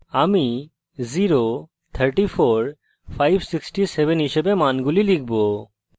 আমি